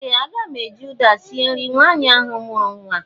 Ee! Aga m eji ụda sie nri nwaanyị ahụ mụrụ nwa.